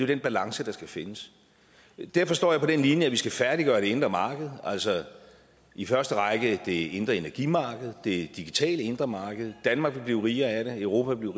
den balance der skal findes derfor står jeg på den linje at vi skal færdiggøre det indre marked altså i første række det indre energimarked og det digitale indre marked danmark vil blive rigere af det europa vil